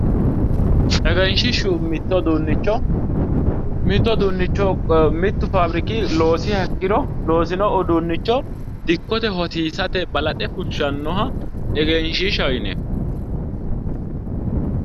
Egenshishshu mitto uduunicho mitu faabbirikki loosiha ikkiro loosino uduunicho dikkote hosiisarate balaxe fushanoha egenshishshaho yineemmo